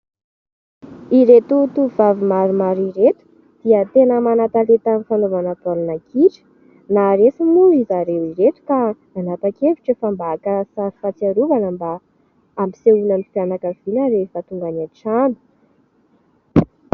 Ireto tovovavy maromaro ireto dia tena mana-talenta amin'ny fanaovana baolina kitra. Naharesy moa zareo ireto ka nanapa-kevitra efa mba haka sary fahatsiarovana mba hampisehoana ny fianakaviana rehefa tonga any an-trano.